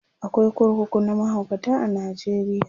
akwai kurkuku na mahaukata a Najeriya